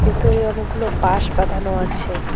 ভেতরে অনেকগুলো বাঁশ বাঁধানো আছে।